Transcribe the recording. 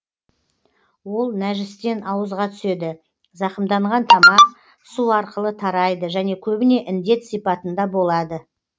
ол нәжістен ауызға түседі зақымданған тамақ су арқылы тарайды және көбіне індет сипатында болады